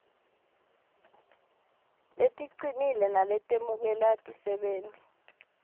leticinile naletemukela tisebenti